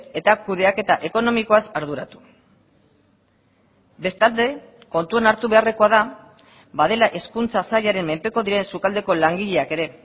eta kudeaketa ekonomikoaz arduratu bestalde kontuan hartu beharrekoa da badela hezkuntza sailaren menpeko diren sukaldeko langileak ere